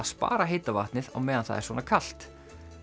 spara heita vatnið á meðan það er svona kalt